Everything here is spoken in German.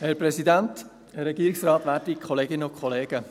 Ich gebe das Wort als Erstem Marc Jost für die EVP.